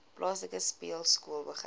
plaaslike speelskool begin